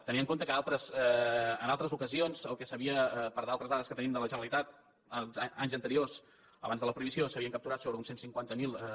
tenint en compte que en altres ocasions per altres dades que tenim de la generalitat d’anys anteriors abans de la prohibició s’havien capturat sobre uns cent i cinquanta miler